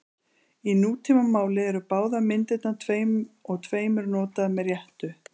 Í nútímamáli eru báðar myndirnar tveim og tveimur notaðar með réttu.